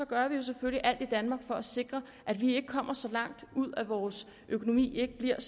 gør vi selvfølgelig alt i danmark for at sikre at vi ikke kommer så langt ud sikre at vores økonomi ikke bliver